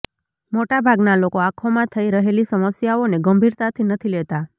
મોટાભાગના લોકો આંખોમાં થઈ રહેલી સમસ્યાઓને ગંભીરતાથી નથી લેતા